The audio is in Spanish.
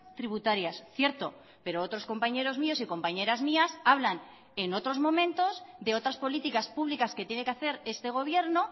tributarias cierto pero otros compañeros míos y compañeras mías hablan en otros momentos de otras políticas públicas que tiene que hacer este gobierno